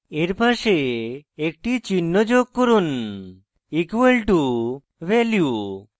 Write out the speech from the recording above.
এর পাশে একটি চিহ্ন যোগ করুন equal to = value